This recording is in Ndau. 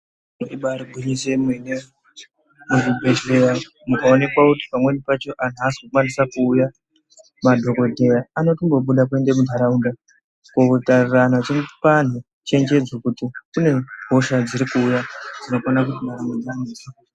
Ibari gwinyiso yemene muzvibhedhelera mukaonekwa kuti pamweni pacho anhu asi kukwanise kuuya madhokodheya anotongobuda kuende kunharaunda kotarira nekupa anhu chenjedzo kuti kune hosha dzirikuuya dzinokone ...